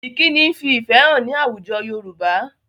Ìkíni ń fi ìfẹ hàn ní àwùjọ Yorùbá